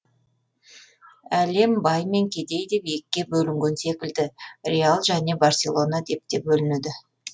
әлем бай мен кедей деп екіге бөлінген секілді реал және барселона деп те бөлінеді